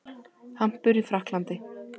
Hampur í Frakklandi.